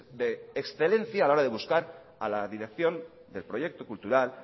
de excelencia a la hora de buscar a la dirección del proyecto cultural